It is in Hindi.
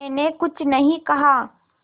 मैंने कुछ नहीं कहा